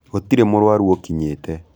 Gũtirĩmũrwaru ũkinyite.